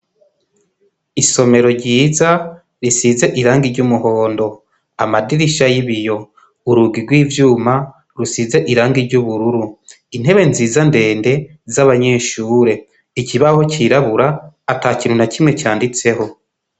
Isomero ryiza risize irangi ry'umuhondo, amadirisha y'ibiyo, urugi rw'ivyuma rusize irangi ry'ubururu, intebe nziza ndende z'abanyeshure, ikibaho cirabura ata kintu na kimwe canditseho.